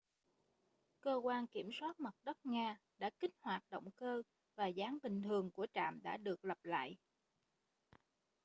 cơ quan kiểm soát mặt đất nga đã kích hoạt động cơ và dáng bình thường của trạm đã được lập lại